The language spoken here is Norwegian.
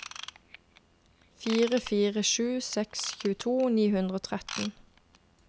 fire fire sju seks tjueto ni hundre og tretten